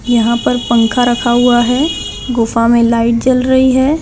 यहाँ पर पंखा रखा हुआ है गुफा में लाइट जल रही है।